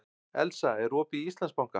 Elsa, er opið í Íslandsbanka?